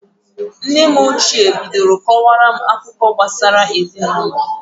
Nne m ochie bidoro kọwara m akụkọ gbasara ezinụlọ.